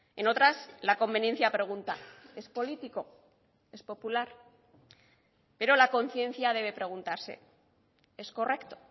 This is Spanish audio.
en otras la conveniencia pregunta es político es popular pero la conciencia debe preguntarse es correcto